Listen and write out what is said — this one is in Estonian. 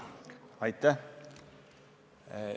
Aitäh!